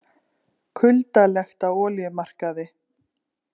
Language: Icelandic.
Kuldalegt á olíumarkaði